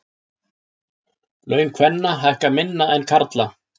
Laun kvenna hækka minna en karla